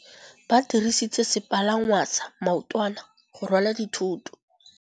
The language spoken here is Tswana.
Ba dirisitse sepalangwasa maotwana go rwala dithôtô.